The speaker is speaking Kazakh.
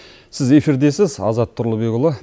сіз эфирдесіз азат тұрлыбекұлы